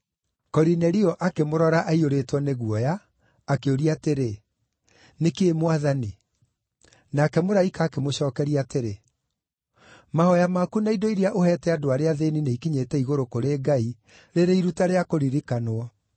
Korinelio akĩmũrora aiyũrĩtwo nĩ guoya, akĩũria atĩrĩ, “Nĩ kĩĩ Mwathani?” Nake mũraika akĩmũcookeria atĩrĩ, “Mahooya maku na indo iria ũheete andũ arĩa athĩĩni nĩikinyĩte igũrũ kũrĩ Ngai rĩrĩ iruta rĩa kũririkanwo.